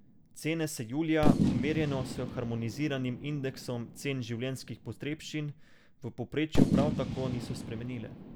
Cene se julija, merjeno s harmoniziranim indeksom cen življenjskih potrebščin, v povprečju prav tako niso spremenile.